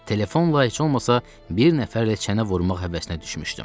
Telefonla heç olmasa bir nəfərlə çənə vurmaq həvəsinə düşmüşdüm.